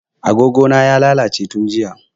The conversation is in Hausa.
A gogo na ya lalace tun jiya